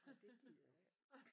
Nåh det gider jeg ikke